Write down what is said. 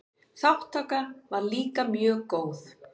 Þátttaka var líka mjög góð.